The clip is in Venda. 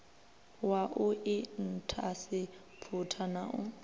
wa u inthaseputha na u